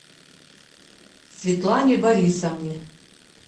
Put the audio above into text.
светлане борисовне